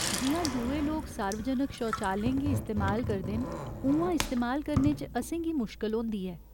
जि'यां दुए लोक सार्वजनक शौचालयें गी इस्तेमाल करदे न उ'आं इस्तेमाल करने च असेंगी मुश्कल होंदी ऐ।